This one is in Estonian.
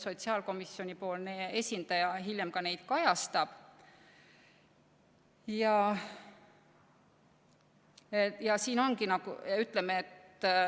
Sotsiaalkomisjoni esindaja hiljem ilmselt ka seda kajastab.